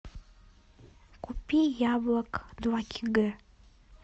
купи яблок два кг